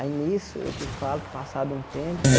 Aí nisso eu te falo que passado um tempo,